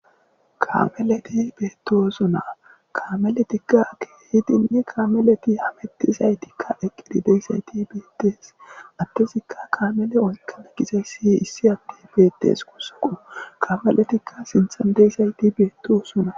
Kamelleti bettosona kammeletika kehidinne kamelleti hammetizaytika eqqidi deizaytti bettes addezikka kammella oyqqana giizayssi issi addey bettes gussuko kammeletika sinththan deizaytti bettosona.